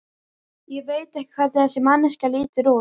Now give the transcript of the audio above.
Ég veit ekki hvernig þessi manneskja lítur út.